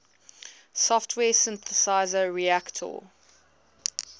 software synthesizer reaktor